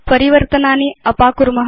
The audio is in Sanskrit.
परिवर्तनानि अपाकुर्म